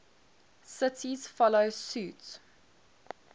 cities follow suit